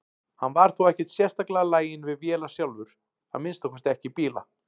Hann var þó ekkert sérstaklega laginn við vélar sjálfur, að minnsta kosti ekki bíla.